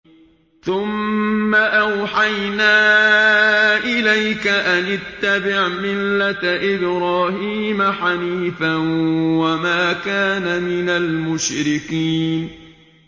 ثُمَّ أَوْحَيْنَا إِلَيْكَ أَنِ اتَّبِعْ مِلَّةَ إِبْرَاهِيمَ حَنِيفًا ۖ وَمَا كَانَ مِنَ الْمُشْرِكِينَ